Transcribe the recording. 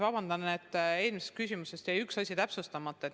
Vabandust, et eelmise küsimuse vastuses jäi üks asi täpsustamata.